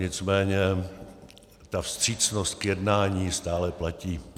Nicméně ta vstřícnost k jednání stále platí.